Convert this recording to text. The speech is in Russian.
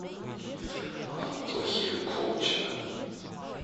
антохи колчина